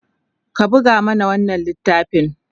ka buga mana wannan littafin!